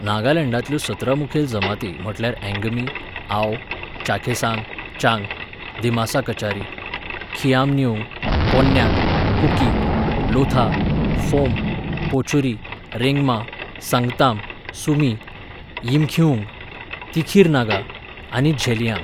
नागालँडांतल्यो सतरा मुखेल जमाती म्हटल्यार अँगमी, आओ, चाखेसांग, चांग, दिमासा कचारी, खिआमनिउंगन, कोन्याक, कुकी, लोथा, फोम, पोचुरी, रेंगमा, संगताम, सुमी, यिमखीउंग, तिखीर नागा आनी झेलियांग.